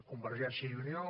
convergència i unió